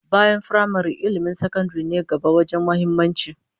Bayan firamare, ilmin sakandaren ne gaba wajen muhimmanci